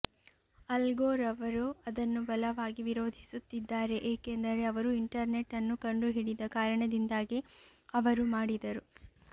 ಅಲ್ ಗೋರ್ ಅವರು ಅದನ್ನು ಬಲವಾಗಿ ವಿರೋಧಿಸುತ್ತಿದ್ದಾರೆ ಏಕೆಂದರೆ ಅವರು ಇಂಟರ್ನೆಟ್ ಅನ್ನು ಕಂಡುಹಿಡಿದ ಕಾರಣದಿಂದಾಗಿ ಅವರು ಮಾಡಿದರು